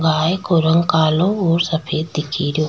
गाय को रंग कालो और सफ़ेद दिख रो।